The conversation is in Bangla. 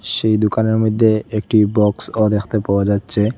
সেই দোকানের মইধ্যে একটি বক্সও দেখতে পাওয়া যাচ্চে ।